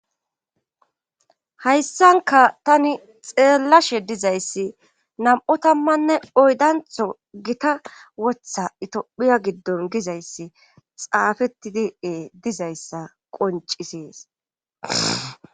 hayssankka tani xeellashe dizayssi nam7u tamanne oyddantto githa wotha itophiya giddon gizayssi xaafettidi ee dizayssa qonccises.